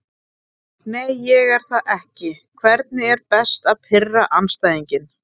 Nei ég er það ekki Hvernig er best að pirra andstæðinginn?